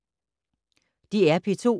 DR P2